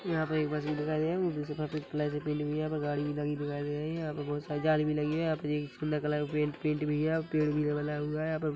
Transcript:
यहाँ पे एक बस भी दिखाई दे रही हे यहाँ पर एक गाड़ी भी लगी दिखाई दे रही है यहाँ पर बहुत सारी जाली भी लगी हैं यहाँ पे सूंदर कलर पेंट भी लगा हुआ हैं --]